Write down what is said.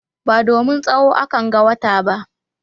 Ba domin tsawo akanga wata ba.